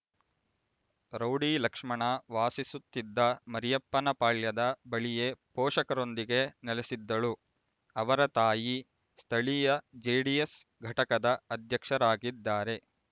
rowdy Lakshmana ವಾಸಿಸುತ್ತಿದ್ದ ಮರಿಯಪ್ಪನಪಾಳ್ಯದ ಬಳಿಯೇ ಪೋಷಕರೊಂದಿಗೆ ನೆಲೆಸಿದ್ದಳು ಅವರ ತಾಯಿ ಸ್ಥಳೀಯ ಜೆಡಿಎಸ್ ಘಟಕದ ಅಧ್ಯಕ್ಷರಾಗಿದ್ದಾರೆ